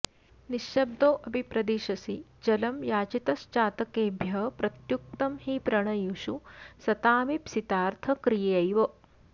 निःशब्दोऽपि प्रदिशसि जलं याचितश्चातकेभ्यः प्रत्युक्तं हि प्रणयिषु सतामीप्सितार्थक्रियैव